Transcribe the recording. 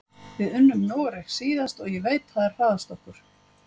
Við unnum Noreg síðast og ég veit að þær hræðast okkur.